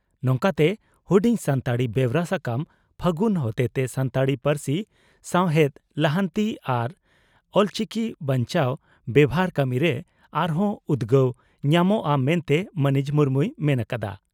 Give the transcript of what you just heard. ᱱᱚᱝᱠᱟᱛᱮ ᱦᱩᱰᱤᱧ ᱥᱟᱱᱛᱟᱲᱤ ᱵᱮᱣᱨᱟ ᱥᱟᱠᱟᱢ ᱯᱷᱟᱹᱜᱩᱱ ᱦᱚᱛᱮᱛᱮ ᱥᱟᱱᱛᱟᱲᱤ ᱯᱟᱹᱨᱥᱤ ᱥᱟᱶᱦᱮᱫ ᱞᱟᱦᱟᱱᱛᱤ ᱟᱟᱨ ᱚᱞᱪᱤᱠᱤ ᱵᱟᱧᱪᱟᱣ ᱵᱮᱵᱷᱟᱨ ᱠᱟᱹᱢᱤᱨᱮ ᱟᱨ ᱦᱚᱸ ᱩᱫᱽᱜᱟᱹᱣ ᱧᱟᱢᱚᱜᱼᱟ ᱢᱮᱱᱛᱮ ᱢᱟᱹᱱᱤᱡ ᱢᱩᱨᱢᱩᱭ ᱢᱮᱱ ᱟᱠᱟᱫᱼᱟ ᱾